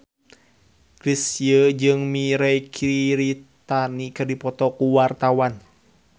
Chrisye jeung Mirei Kiritani keur dipoto ku wartawan